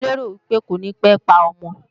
Mo lérò pé kò ní pé pa ọmọ